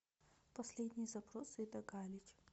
последний запрос ида галич